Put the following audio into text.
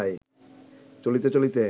চলিতে চলিতে